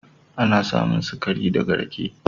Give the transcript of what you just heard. Ana samun sikari da ga rake.